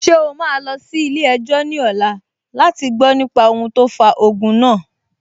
Ṣé o máa lọ sí ilé-ẹjọ́ ní ọ̀la láti gbọ nípa ohun tó fa ogun náà?